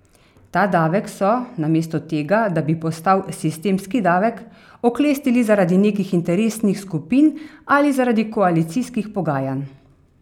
Ta davek so, namesto tega, da bi postal sistemski davek, oklestili zaradi nekih interesnih skupin ali zaradi koalicijskih pogajanj.